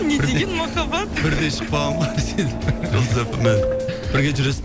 не деген махаббат бірдей шығып қалған ғой сөйтіп жұлдыз эф эм мен бірге жүресің